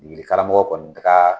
Degelimɔgɔ kɔni ka